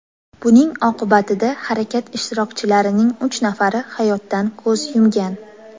Buning oqibatida harakat ishtirokchilarining uch nafari hayotdan ko‘z yumgan.